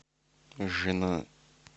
жена